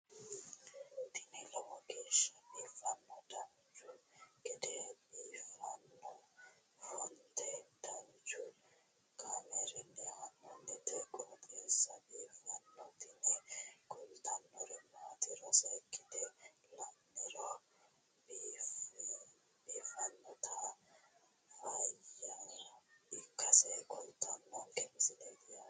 tini lowo geeshsha biiffannoti dancha gede biiffanno footo danchu kaameerinni haa'noonniti qooxeessa biiffannoti tini kultannori maatiro seekkine la'niro biiffannota faayya ikkase kultannoke misileeti yaate